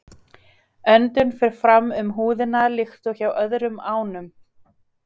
Öndun fer fram um húðina líkt og hjá öðrum ánum.